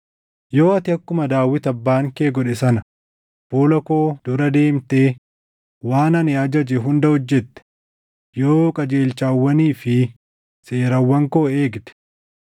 “Yoo ati akkuma Daawit abbaan kee godhe sana fuula koo dura deemtee waan ani ajaje hunda hojjette, yoo qajeelchawwanii fi seerawwan koo eegde,